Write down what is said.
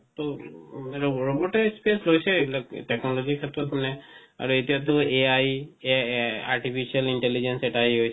মানে robot তে space লৈছে এই বিলাক technology ৰ ক্ষেত্ৰত মানে আৰু এতিয়া তো AI artificial intelligence এটা হৈছে নহয় জানো